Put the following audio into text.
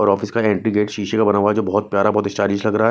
और आफिस का entry gate शीशे का बना हुआ है जो बहोत प्यारा बहोत स्टाइलिश लग रहा--